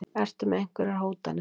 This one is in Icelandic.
Ertu með einhverjar hótanir?